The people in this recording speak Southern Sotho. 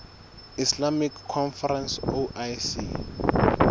islamic conference oic